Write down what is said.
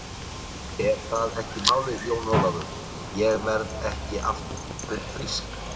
En það er málið Jón Ólafur, ég verð ekki aftur frísk.